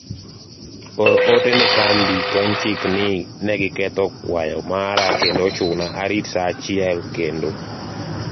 or ote ne kambi kenchik ni ne giketho kwayo mara kendo ochuna arit saa achiel kendo